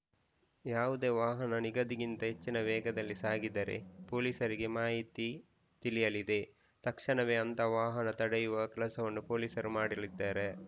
ಯಾವುದೇ ವಾಹನ ನಿಗದಿಗಿಂತ ಹೆಚ್ಚಿನ ವೇಗದಲ್ಲಿ ಸಾಗಿದರೆ ಪೋಲಿಸರಿಗೆ ಮಾಹಿತಿ ತಿಳಿಯಲಿದೆ ತಕ್ಷಣವೇ ಅಂತಹ ವಾಹನ ತಡೆಹಿಡಿಯುವ ಕೆಲಸವನ್ನು ಪೊಲೀಸರು ಮಾಡಲಿದ್ದಾರೆ